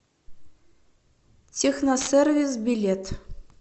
техносервис билет